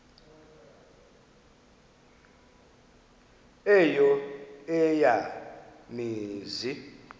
eyo eya mizi